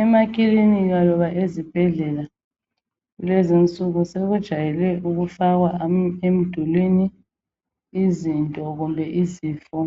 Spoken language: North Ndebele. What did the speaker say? Emaklinika loba ezibhedlela kulezinsuku sokujayelwe ukufakwa emdulwini izinto kumbe izifo